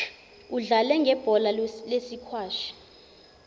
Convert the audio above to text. udlale ngebhola lesikwashi